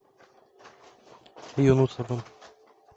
юнусовым